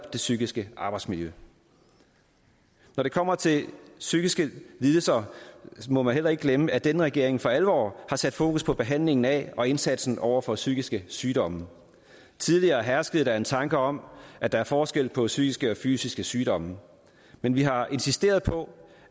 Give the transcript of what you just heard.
det psykiske arbejdsmiljø når det kommer til psykiske lidelser må man heller ikke glemme at denne regering for alvor har sat fokus på behandlingen af og indsatsen over for psykiske sygdomme tidligere herskede der en tanke om at der er forskel på psykiske og fysiske sygdomme men vi har insisteret på